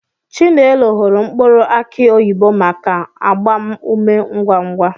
Chinelo hụrụ mkpụrụ aki oyibo maka agbam ume ngwa ngwa.